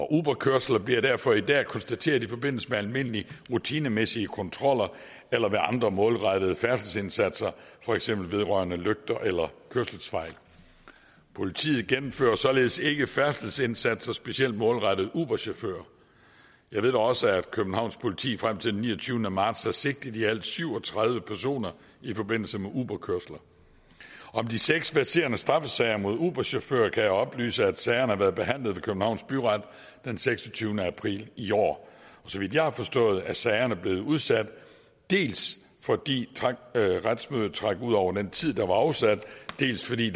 uberkørsler bliver derfor i dag konstateret i forbindelse med almindelige rutinemæssige kontroller eller ved andre målrettede færdselsindsatser for eksempel vedrørende lygter eller kørselsfejl politiet gennemfører således ikke færdselsindsatser specielt målrettet uberchauffører jeg ved da også at københavns politi frem til den niogtyvende marts har sigtet i alt syv og tredive personer i forbindelse med uberkørsler om de seks verserende straffesager mod uberchauffører kan jeg oplyse at sagerne har været behandlet ved københavns byret den seksogtyvende april i år så vidt jeg har forstået er sagerne blevet udsat dels fordi retsmødet trak ud over den tid der var afsat dels fordi